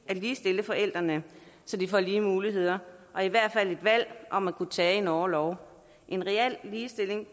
ligestille forældrene så de får lige muligheder og i hvert fald et valg om at kunne tage en orlov en reel ligestilling